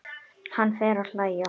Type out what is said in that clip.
Hann fer að hlæja.